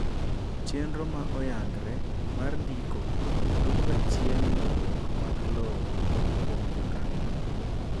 chenro ma oyangre mar ndiko duoko ga chien ywaruok mag lowo kuom jokano